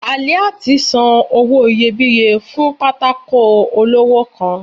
Aliat san owo iyébiye fún pàtàkó olọwọ kán